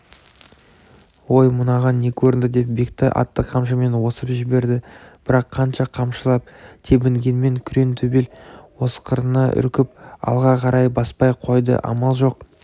ой мынаған не көрінді деп бектай атты қамшымен осып жіберді бірақ қанша қамшылап тебінгенмен күрең төбел осқырына үркіп алға қарай баспай қойды амал жоқ